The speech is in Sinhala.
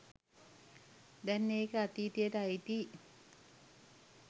දැන් ඒක අතීතයට අයිතියි.